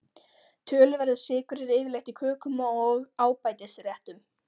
Töluverður sykur er yfirleitt í kökum og ábætisréttum.